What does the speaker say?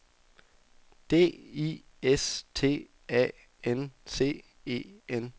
D I S T A N C E N